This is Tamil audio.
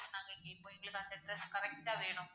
நாங்க கேப்போம் எங்களுக்கு அந்த address correct டா வேணும்.